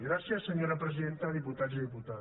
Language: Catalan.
gràcies senyora presidenta diputats i diputades